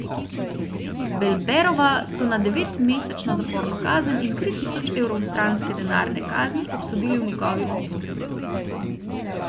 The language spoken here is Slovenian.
Belberova so na devetmesečno zaporno kazen in tri tisoč evrov stranske denarne kazni obsodili v njegovi odsotnosti.